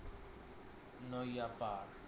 নইয়া পার